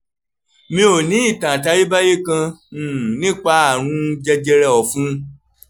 mi ò ní ìtàn àtayébáyé kan um nípa àrùn jẹjẹrẹ ẹ̀fun